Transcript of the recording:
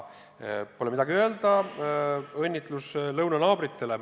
Pole midagi öelda: õnnitlus lõunanaabritele!